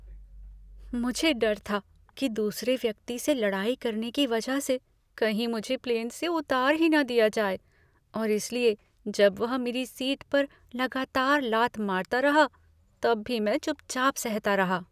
मुझे डर था कि दूसरे व्यक्ति से लड़ाई करने की वजह से कहीं मुझे प्लेन से उतार ही न दिया जाए और इसलिए जब वह मेरी सीट पर लगातार लात मारता रहा तब भी मैं चुपचाप सहता रहा।